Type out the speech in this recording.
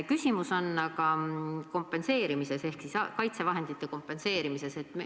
Küsimus on aga kaitsevahendite kompenseerimise kohta.